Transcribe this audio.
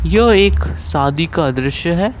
यह एक शादी का दृश्य है।